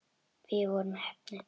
Við vorum heppni.